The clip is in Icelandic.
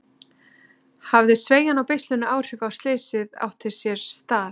Hafði sveigjan á beislinu áhrif á að slysið átti sér stað?